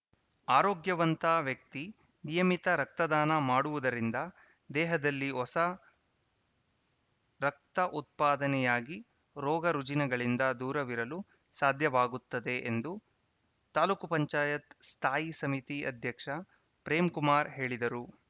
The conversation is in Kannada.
ಆರೋಗ್ಯವಂತ ವ್ಯಕ್ತಿ ನಿಯಮಿತ ರಕ್ತದಾನ ಮಾಡುವುದರಿಂದ ದೇಹದಲ್ಲಿ ಹೊಸ ರಕ್ತ ಉತ್ಪಾದನೆಯಾಗಿ ರೋಗ ರುಜಿನಗಳಿಂದ ದೂರವಿರಲು ಸಾಧ್ಯವಾಗುತ್ತದೆ ಎಂದು ತಾಲೂಕ್ ಪಂಚಾಯತ್ ಸ್ಥಾಯಿ ಸಮಿತಿ ಅಧ್ಯಕ್ಷ ಪ್ರೇಮ್‌ಕುಮಾರ್‌ ಹೇಳಿದರು